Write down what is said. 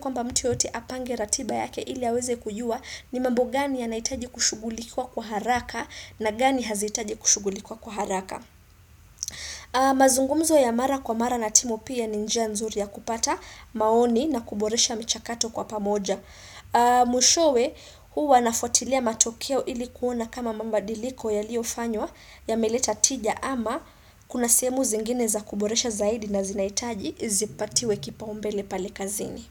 kwamba mtu yoyote apange ratiba yake ili aweze kujua ni mambo gani yanahitaji kushugulikiwa kwa haraka na gani hazihitaji kushugulikiwa kwa haraka. Mazungumzo ya mara kwa mara na timu pia ni njia nzuri ya kupata maoni na kuboresha mchakato kwa pamoja. Mwishowe huwa nafuatilia matokeo ilikuona kama mabadiliko yaliyofanywa yameleta tija ama kuna sehemu zingine za kuboresha zaidi na zinahitaji zipatiwe kipaumbele pale kazini.